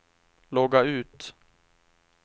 logga ut